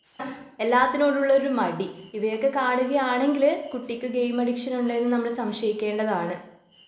എല്ലാത്തിനോടു ഉള്ള ഒരു മടി ഇവയൊക്കെ കാണുകയാണെങ്കില് കുട്ടിക്ക് ഗെയിം അഡിക്ഷൻ ഉണ്ട് എന്ന് നമ്മൾ സംശയിക്കേണ്ടതാണ്.